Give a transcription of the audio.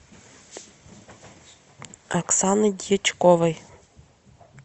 оксаны дьячковой